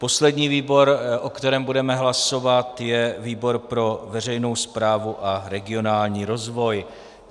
Poslední výbor, o kterém budeme hlasovat, je výbor pro veřejnou správu a regionální rozvoj.